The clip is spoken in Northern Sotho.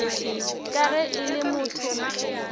ka ge e le motho